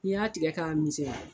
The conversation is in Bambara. N'i y'a tigɛ k'a misɛnya.